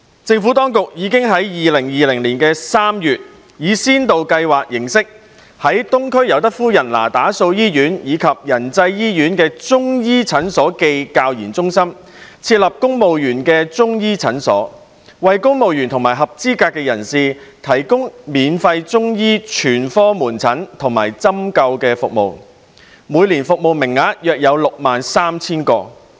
政府當局已於2020年3月，以先導計劃形式，在東區尤德夫人那打素醫院及仁濟醫院的中醫診所暨教研中心，設立公務員中醫診所，為公務員及合資格人士提供免費中醫全科門診和針灸服務，每年服務名額約 63,000 個。